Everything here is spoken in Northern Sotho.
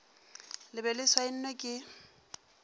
le be le saenwe ke